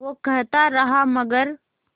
वो कहता रहा मगर